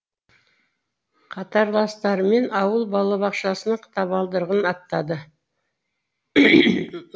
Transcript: қатарластарымен ауыл балабақшасының табалдырығын аттады